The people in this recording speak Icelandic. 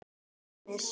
Til dæmis